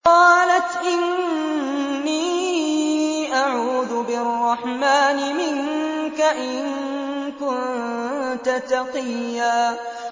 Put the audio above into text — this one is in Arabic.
قَالَتْ إِنِّي أَعُوذُ بِالرَّحْمَٰنِ مِنكَ إِن كُنتَ تَقِيًّا